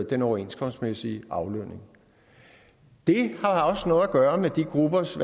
den overenskomstmæssige aflønning det har også noget at gøre med de gruppers